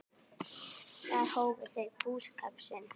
Þar hófu þau búskap sinn.